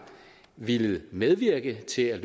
villet medvirke til at